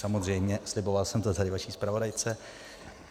Samozřejmě, sliboval jsem to tady vaší zpravodajce.